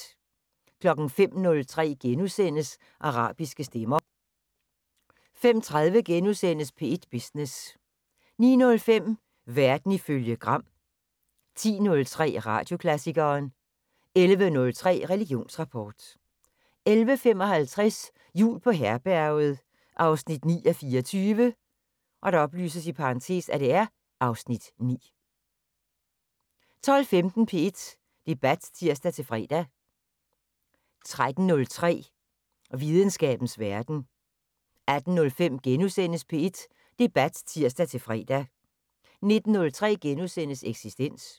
05:03: Arabiske stemmer * 05:30: P1 Business * 09:05: Verden ifølge Gram 10:03: Radioklassikeren 11:03: Religionsrapport 11:55: Jul på Herberget 9:24 (Afs. 9) 12:15: P1 Debat (tir-fre) 13:03: Videnskabens Verden 18:05: P1 Debat *(tir-fre) 19:03: Eksistens *